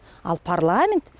ал парламент